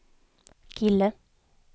kille